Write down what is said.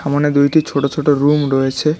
সামোনে দুইটি ছোট ছোট রুম রয়েছে।